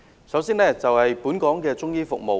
首先，是關於本港的中醫服務的發展。